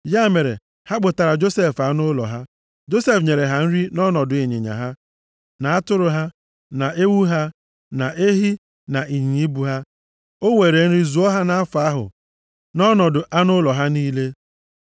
Ya mere, ha kpụtaara Josef anụ ụlọ ha. Josef nyere ha nri nʼọnọdụ ịnyịnya ha, na atụrụ ha, na ewu ha, na ehi, na ịnyịnya ibu ha. O were nri zụọ ha nʼafọ ahụ nʼọnọdụ anụ ụlọ ha niile.